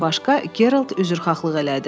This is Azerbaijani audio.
Bundan başqa, Gerald üzrxahlıq elədi.